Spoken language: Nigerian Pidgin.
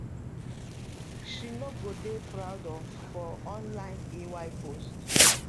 she no go dey proud of for online ay post